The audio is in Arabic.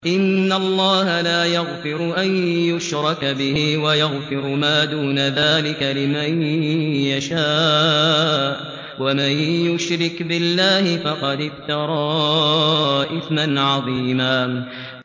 إِنَّ اللَّهَ لَا يَغْفِرُ أَن يُشْرَكَ بِهِ وَيَغْفِرُ مَا دُونَ ذَٰلِكَ لِمَن يَشَاءُ ۚ وَمَن يُشْرِكْ بِاللَّهِ فَقَدِ افْتَرَىٰ إِثْمًا عَظِيمًا